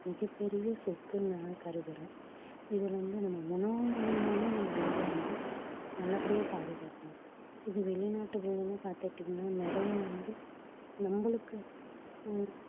மிகப்பெரிய சொத்துன்னு நான் கருதுறேன் இதுலிருந்து நம்ம உனவு மூலியமாவே நம்ம உடலை வந்து நல்லபடியா பாதுகாக்கணும் இது வெளிநாட்டுகள்லயும் பாத்துகிட்டீங்கன்னா நிறைய வந்து நம்மளுக்கு அஹ்